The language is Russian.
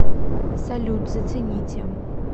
салют зацените